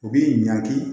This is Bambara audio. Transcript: U b'i ɲanki